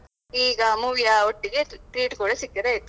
ಈಗಾ movie ಯ ಒಟ್ಟಿಗೆ tre~ treat ಕೂಡಾ ಸಿಕ್ಕಿದ್ರೆ ಆಯ್ತು.